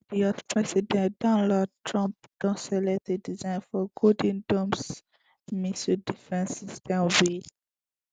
di us president donald trump don select a design for golden dome missile defence system wey